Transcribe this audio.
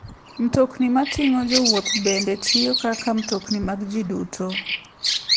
Mtokni mating'o jowuoth bende tiyo kaka mtokni mag ji duto.